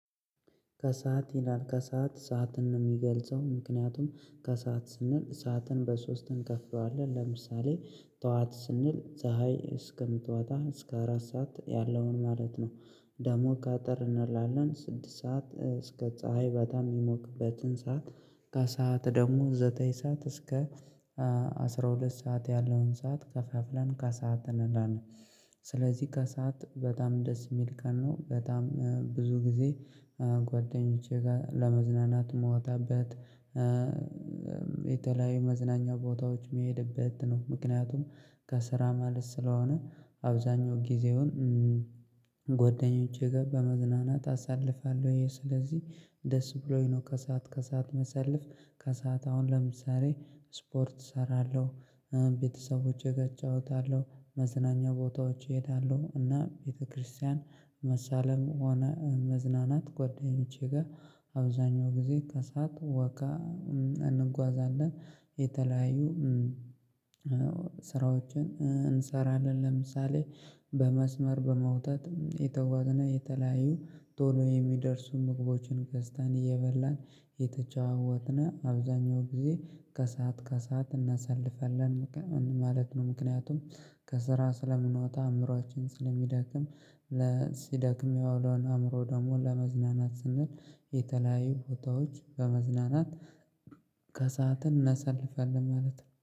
ከሰአት ይላል ከሰአት ሰዓትን ነው እሚገልጸው ምክንያቱም ከሰአት ስንል ሰዓትን በሶስት እንከፍለዋለን ለምሳሌ ጥዋት ስንል ፀሀይ እስከምትወጣዋ እስከ አራት ሰዓት ያለውን ማለት ነው። ደሞ አጠር እንላለን ስድስት ሰዓት እስከ ፀሀይ በጣም እሚሞቅበትን ሰዓት። ከሰአት ደሞ ዘጠኝ ሰዓት እስከ አስራ ሁለት ሰዓት ያለውን ሰዓት ከፋፍለን ከሰአት እናን። ስለዚህ ከሰአት በጣም ደስ እሚል ቀን ነው በጣም ብዙ ጊዜ። ጓደኞቼ ጋ ለመዝናናት እምጣበት የተለያዩ መዝናኛ ቦታዎች እምሄድበት ነው። ምክንያቱም ከስራ መልስ ስለሆነ አብዛኛው ጊዜውን ጓደኞቼ ጋ በመዝናናት አሳልፋለሁ። ስለዚህ ደስ ብሎኝ ነው። ከሰአት ከሰአት እማሳልፍ ከሰአት አሁን ለምሳሌ ስፖርት እሰራለሁ። ቤተሰቦቼ ጋ እጫወታለሁ መዝናኛ ቦታዎች እሄዳለሁ እና ቤተክርስቲያን መሳለም ሆነ መዝናናት ጓደኞቼ ጋ አብዛኛው ጊዜ ከሰአት ወክ እንጓዛለን። የተለያዩ ስራዎችን እንሰራለን ለምሳሌ በመስመር በመውጣት እየተጓዝነ የተለያዩ ቶሎ የሚደርሱ ምግቦችን ገዝተን እየበላን እየተጨዋወትነ አብዛኛው ጊዜ ከሰአት ከሰአት እናሳልፈለን ማለት ነው። ምክንያቱም ከስራ ስለምንወጣ ወጣ አእምሮአችን ስለሚዳክም ሲዳክም የዋለውን አእምሮ ደግሞ ለማዝናናት ስንል የተለያዩ ፎቶዎች በመዝናናት ከሰአትን እናሳልፋለን ማለት ነው